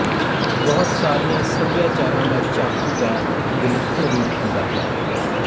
ਬਹੁਤ ਸਾਰੀਆਂ ਸੱਭਿਆਚਾਰਾਂ ਦਾ ਚਾਕੂ ਦਾ ਇੱਕ ਵਿਲੱਖਣ ਰੂਪ ਹੁੰਦਾ ਹੈ